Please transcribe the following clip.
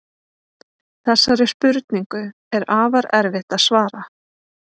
Þessari spurningu er afar erfitt að svara.